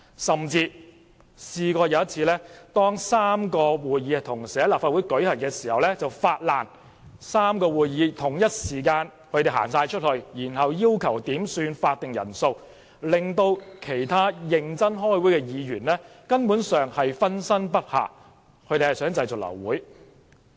甚至有一次，當3個會議同時在立法會舉行期間，反對派議員同時發難，全體離開會議室，然後要求點算法定人數，令其他認真開會的議員分身不暇，目的是想製造流會。